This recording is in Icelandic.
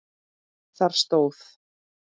Þar stóð